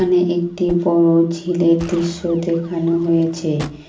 এখানে একটি বড় ঝিলের দৃশ্য দেখানো হয়েছে।